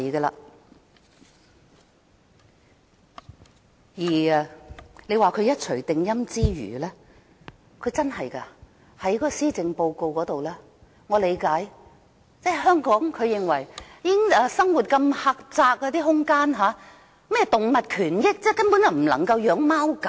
至於說她一錘定音之餘，她在施政報告中說——這點我能理解——認為香港生活空間如此狹窄，說甚麼動物權益，根本不能飼養貓狗。